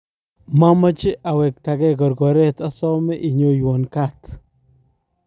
mameche awektegei korkoret asome inyowon kat